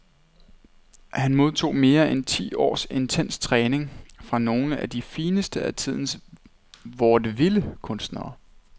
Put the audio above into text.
Han modtog mere end ti års intens træning fra nogle af de fineste af tidens vaudeville kunstnere .